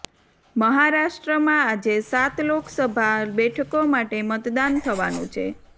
મહારાષ્ટ્રમાં આજે સાત લોકસભા બેઠકો માટે મતદાન થવાનું છે